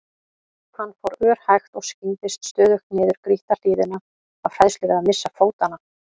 Hann fór örhægt og skyggndist stöðugt niður grýtta hlíðina af hræðslu við að missa fótanna.